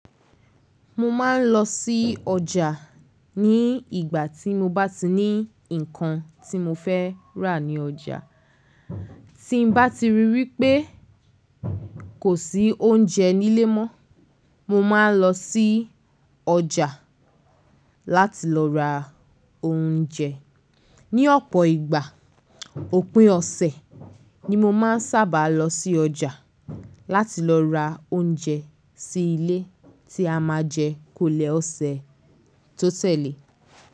Mo máa ń lọ sí ọjà ní ìgbà tí mo bá ti ní nǹkan tí mo fẹ́ rà ní ọjà. Tí mo bá ti ríi wípé kò sí oúnjẹ nílé mọ́, mo máa ń lọ sí ọjà láti lọ ra oúnjẹ. Ni ọ̀pọ̀ ìgbà, òpin ọ̀sẹ̀ ni mo máa ń sábà lọ sí ọjà láti lọ ra oúnjẹ sí ilé tí a máa jẹ kolẹ̀ ọ̀sẹ̀ tó tẹ̀lé.